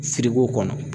Sirigu kɔnɔ